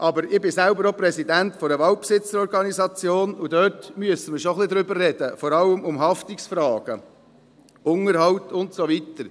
Aber ich bin selber auch Präsident einer Waldbesitzerorganisation, und darüber müssen wir schon ein wenig reden, vor allem über die Haftungsfragen, den Unterhalt und so weiter.